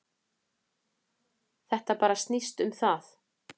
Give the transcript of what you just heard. Þetta bara snýst um það.